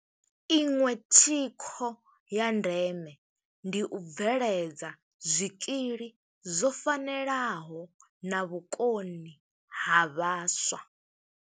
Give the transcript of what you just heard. Iṅwe thikho ya ndeme ndi u bve edza zwikili zwo fanelaho na vhukoni ha vhaswa.